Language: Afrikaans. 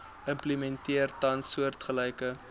implementeer tans soortgelyke